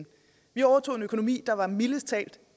vi overtog en økonomi der var mildest talt